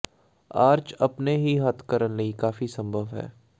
arch ਆਪਣੇ ਹੀ ਹੱਥ ਕਰਨ ਲਈ ਕਾਫ਼ੀ ਸੰਭਵ ਹੈ